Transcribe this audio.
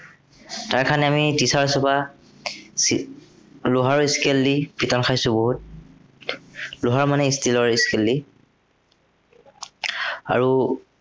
তাৰ কাৰনে আমি teachers ৰ পৰা এৰ লোহাৰৰ scale দি পিটন খাইছো বহুত। লোহাৰ মানে steel ৰ scale দি। আৰু